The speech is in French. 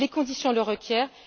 Les conditions le requièrent.